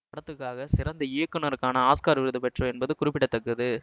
படத்துக்காக சிறந்த இயக்குனருக்கான ஆஸ்கார் விருது பெற்றவர் என்பது குறிப்பிட தக்கது